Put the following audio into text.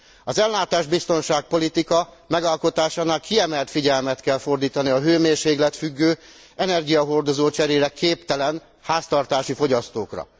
Az ellátásbiztonság politika megalkotásakor kiemelt figyelmet kell fordítani a hőmérsékletfüggő, energiacserére képtelen háztartási fogyasztókra.